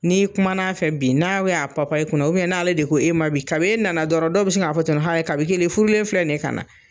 N'i kuma a fɛ bi n'a y'a papa i kunna n'ale de ko e ma bi kabi e na na dɔrɔn dɔw bɛ se k'a fɔ ten nɔn kabi kelen e furulen filɛ nin ye ka na.